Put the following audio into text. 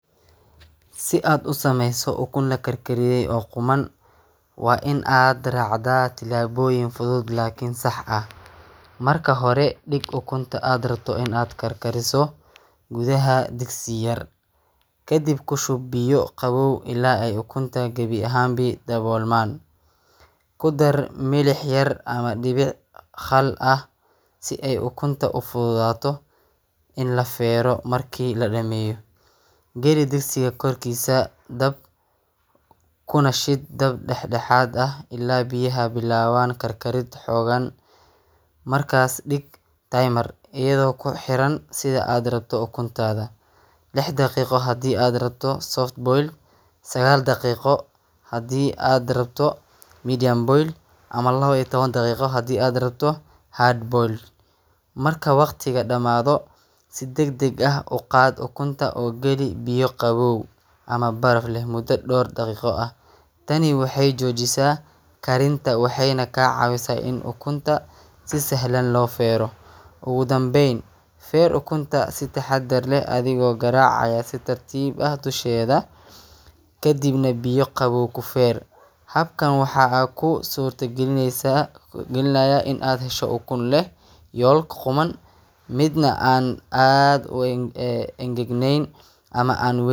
Si aad u sameyso ukun lakar kariye oo quman waa in aad racdaa tilaboyin fuduud oo sax ah marka hore in aad digto gudaha digsi yar kadiib kushub biya qawow ila ukunta gawi ahan ba dawolman, kudal dibic yar oo milix ah sithe ukunta u fududato in la fero marki la dameyo gali digsiga kor kisa dab kuna shiid dab dex daxaad ah ila biyaha bilawan kar kariid xogan markas dig iyadha oo ku xiran sitha aad rabto ukuntadha lix daqiqo hadii aad rabto soft boil sagal daqiqo hadii aad rabto medium boil ama lawa iyo tawan daqiqo hadii aad rabto hard boil marka waqtiga damadho si dag dag ah u qaad ukunta oo gali biyo qawow ama baraf mudo ama dor daqiqo ah tani waxee jojisa karinta waxeyna ka cawisa ukunta lo fero, ugu danben feer ukunta si taxaadar leh oo garac si tartiib ah dusheeda kadiib nah biyo qawow kufeer, habkan waxaa aad ku sorta galinaya in aad hesho ukun leh yolk quman miid nah an aad u angagnen.